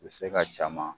U bɛ se ka caman